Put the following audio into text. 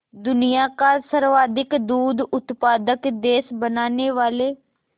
दुनिया का सर्वाधिक दूध उत्पादक देश बनाने वाले